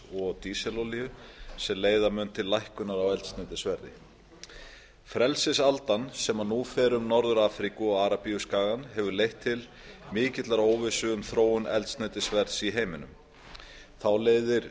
og dísilolíu sem leiða mun til lækkunar á eldsneytisverði frelsisaldan sem nú fer um norður afríku og arabíuskagann hefur leitt til mikillar óvissu um þróun eldsneytisverðs í heiminum þá leiðir